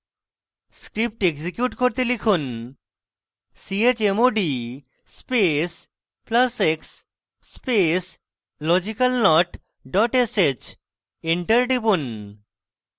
script execute করতে লিখুন: chmod space plus x space logicalnot dot sh enter টিপুন